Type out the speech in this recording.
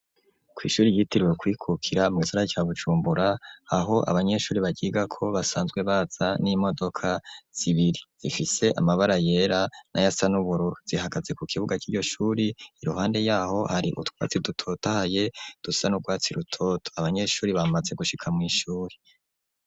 Kw'ishuri ryiteriwe kuyikukira mu isara cya gucumbura aho abanyeshuri bagiga ko basanzwe baza n'imodoka zibiri ifise amabara yera n'a yasanuburu zihagaze ku kibuga cy'iryoshuri iruhande yaho hari utwatsi dutotaye dusan ubwatsi rutoto abanyeshuri bamase gushika mu ishuri.